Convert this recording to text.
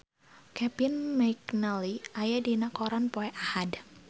Kevin McNally aya dina koran poe Ahad